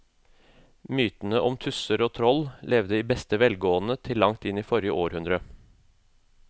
Mytene om tusser og troll levde i beste velgående til langt inn i forrige århundre.